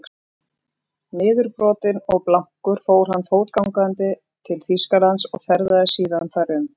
Niðurbrotinn og blankur fór hann fótgangandi til Þýskalands og ferðaðist síðan þar um.